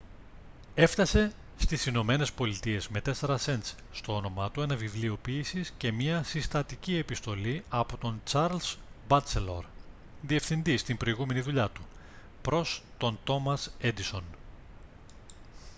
έφτασε στις ηνωμένες πολιτείες με 4 σεντς στο όνομά του ένα βιβλίο ποίησης και μια συστατική επιστολή από τον τσαρλς μπάτσελορ διευθυντή στην προηγούμενη δουλειά του προς τον τόμας έντισον